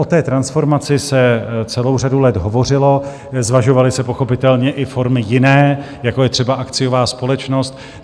O té transformaci se celou řadu let hovořilo, zvažovaly se pochopitelně i formy jiné, jako je třeba akciová společnost.